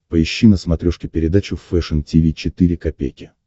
поищи на смотрешке передачу фэшн ти ви четыре ка